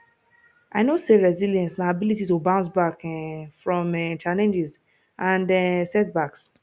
i know say resilience na ability to bounce back um from um challenges and um setbacks